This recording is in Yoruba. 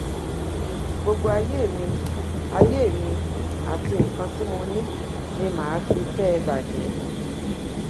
gbogbo ayé mi ayé mi àti nǹkan tí mo ní ni mà á fi kẹ ẹ bàjẹ